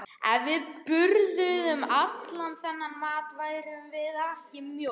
Ef við borðuðum allan þennan mat værum við ekki mjó.